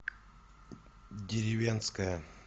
деревенское